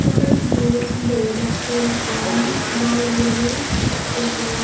te ibot dega jatte ekkan bor guri iskul gor.